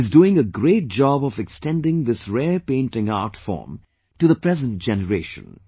He is doing a great job of extending this rare painting art form to the present generation